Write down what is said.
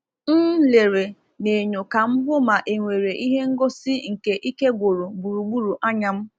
M lere n’enyo ka m hụ ma enwere ihe ngosi nke ike gwụrụ gburugburu anya m.